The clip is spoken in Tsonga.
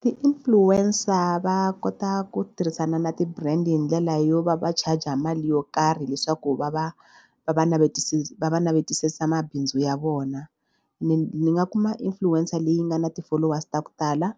Ti-influencer va kota ku tirhisana na ti-brand hi ndlela yo va va charger mali yo karhi leswaku va va va va va va navetisa mabindzu ya vona. Ni ni nga kuma influencer leyi nga na ti-followers to tala